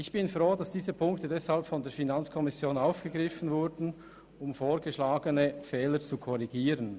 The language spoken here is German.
Ich bin deshalb froh, dass diese Punkte von der FiKo aufgegriffen wurden, um vorgeschlagene Fehler zu korrigieren.